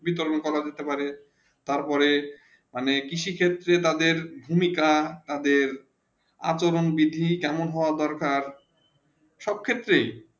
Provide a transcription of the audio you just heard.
বিতরণ করা যেতে পারে তা পরে আমাদের কৃষি ক্ষেত্রে তাদের ভূমিকা তাদের আচরণ বিধি কেমন হবে দরকার সব ক্ষেত্রে